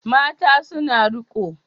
Mata suna riƙo